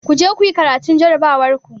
Ku je kuyi karatun jarabawar ku!